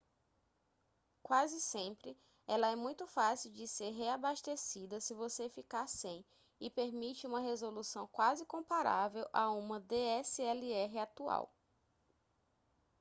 quase sempre ela é muito fácil de ser reabastecida se você ficar sem e permite uma resolução quase comparável a uma dslr atual